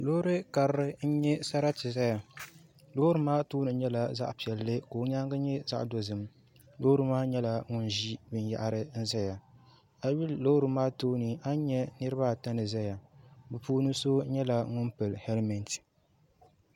Loori karili n nyɛ sariti doya loori maa tooni nyɛla zaɣ piɛlli ka o nyaangi nyɛ zaɣ dozim loori maa nyɛla ŋun ʒi binyahari n ʒɛya a yi lihi loori maa tooni a ni nyɛ niraba ata ni ʒɛya bi puuni so nyɛla ŋun pili hɛlmɛnt